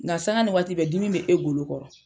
Nga sanga ni waati bɛ dimi bɛ e golo kɔrɔ